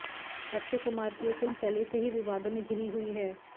अक्षय कुमार की यह फिल्म पहले से ही विवादों में घिरी हुई है